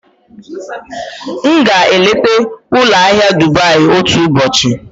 M ga-eleta ụlọ ahịa Dubai otu ụbọchị.